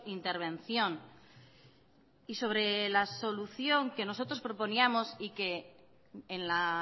intervención y sobre la solución que nosotros proponíamos y que en la